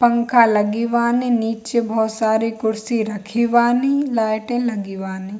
पंखा लगे बानी नीचे बहुत सारी कुर्सी रखे बानी लाईटे बानी।